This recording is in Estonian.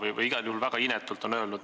Igal juhul on see väga inetult öeldud.